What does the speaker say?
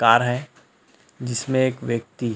तार है जिसमें एक व्यक्ति --